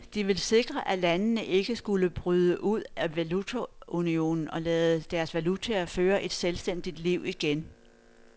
De ville sikre, at landene ikke skulle bryde ud af valutaunionen og lade deres valutaer føre et selvstændigt liv igen.